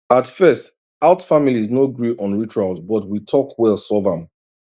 at first out families no gree on rituals but we talk well solve am